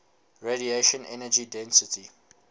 radiation energy density